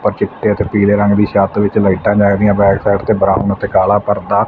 ਆ ਚਿੱਟੇ ਅਤੇ ਪੀਲੇ ਰੰਗ ਦੀ ਛੱਤ ਵਿੱਚ ਲਾਈਟਾਂ ਜੱਗਦੀਆਂ ਬੈਕ ਸਾਈਡ ਤੇ ਬਰਾਊਨ ਅਤੇ ਕਾਲਾ ਪਰਦਾ--